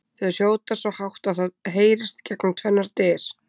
Þau hrjóta svo hátt að það heyrist gegnum tvennar dyr!